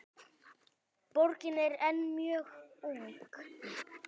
Borgin er enn mjög ung.